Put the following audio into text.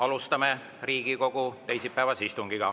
Alustame Riigikogu teisipäevast istungit.